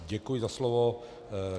Děkuji za slovo.